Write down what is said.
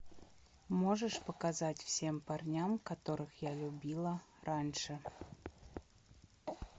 можешь показать всем парням которых я любила раньше